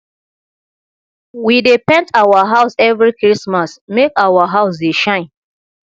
we dey paint our house every christmas make our house dey shine